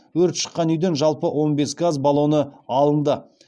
өрт шыққан үйден жалпы он бес газ баллоны алынды